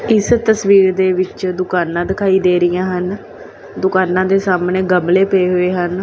ਇਸ ਤਸਵੀਰ ਦੇ ਵਿੱਚ ਦੁਕਾਨਾਂ ਦਿਖਾਈ ਦੇ ਰਹੀਆਂ ਹਨ ਦੁਕਾਨਾਂ ਦੇ ਸਾਹਮਣੇ ਗਮਲੇ ਪਏ ਹੋਏ ਹਨ।